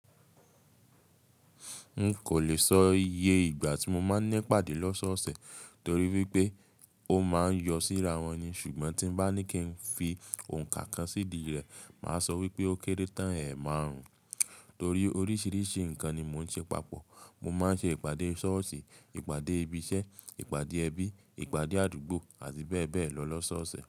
N kò lè sọ iye ìgbà tí mo máa ń nípàdé lọ́ṣọ́ọ̀ọ̀sẹ̀ torí wípé ó máa ń yọ síra wọn ni. Ṣùgbọ́n tí n bá ní kí n fi òǹkà kan sídìí rẹ̀, màá sọ wípé ó kéré tán ẹ̀ẹ̀marùn-ún. Torí oríṣìíríṣìí nǹkan ni mò ń ṣe papọ̀. Mo máa ń ṣe ìpàdé ṣọ́ọ̀ṣì, ìpàdé ibi iṣẹ́, ìpàdé ẹbí, ìpàdé àdúgbò àti bẹ́ẹ̀ bẹ́ẹ̀ lọ lọ́sọ́ọ̀sẹ̀.